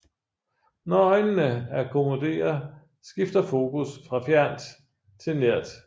Når øjnene akkommoderer skifter fokus fra fjernt til nært